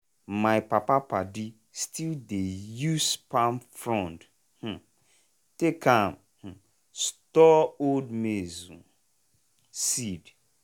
my papa padi still dey use palm frond um take am store old maize seed.